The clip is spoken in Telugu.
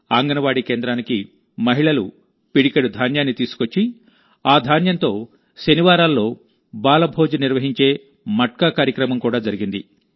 అంగన్వాడీ కేంద్రానికి మహిళలు పిడికెడు ధాన్యాన్ని తీసుకొచ్చి ఆ ధాన్యంతో శనివారాల్లో బాలభోజ్ నిర్వహించే మట్కా కార్యక్రమం కూడా జరిగింది